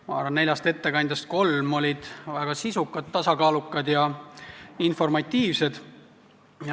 Ma arvan, et neljast ettekandest kolm olid väga sisukad, tasakaalukad ja informatiivsed.